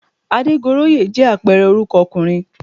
Adégoróyè jẹ́ àpẹẹrẹ orúkọ ọkùnrin